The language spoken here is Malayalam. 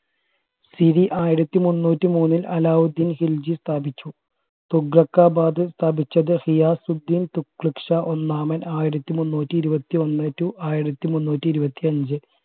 രി ആയിരത്തി മുന്നൂറ്റി മൂന്നിൽ അലാവുദ്ദീൻ ഖിൽജി സ്ഥാപിച്ചു തുഗ്ലകബാദ് സ്ഥാപിച്ചത് ഹിയസുദ്ധീന് തുഗ്ലക്ഷ ഒന്നാമൻ ആയിരത്തി മുന്നൂറ്റി ഇരുവത്തി ഒന്ന് to ആയിരത്തി മുന്നൂറ്റി ഇരുവത്തി അഞ്ചു